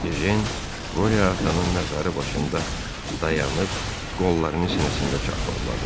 Ejən Qoriya atanın məzarı başında dayanıb qollarını sinəsində çarpazladı.